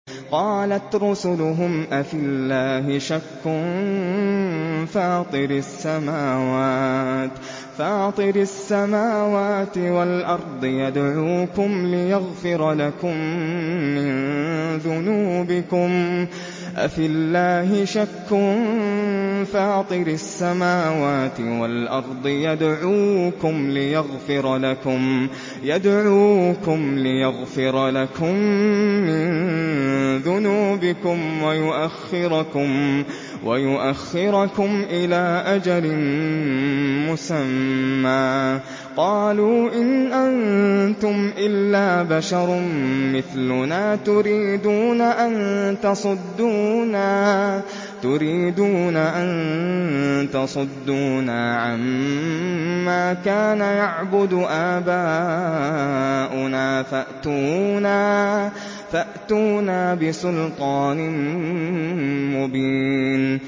۞ قَالَتْ رُسُلُهُمْ أَفِي اللَّهِ شَكٌّ فَاطِرِ السَّمَاوَاتِ وَالْأَرْضِ ۖ يَدْعُوكُمْ لِيَغْفِرَ لَكُم مِّن ذُنُوبِكُمْ وَيُؤَخِّرَكُمْ إِلَىٰ أَجَلٍ مُّسَمًّى ۚ قَالُوا إِنْ أَنتُمْ إِلَّا بَشَرٌ مِّثْلُنَا تُرِيدُونَ أَن تَصُدُّونَا عَمَّا كَانَ يَعْبُدُ آبَاؤُنَا فَأْتُونَا بِسُلْطَانٍ مُّبِينٍ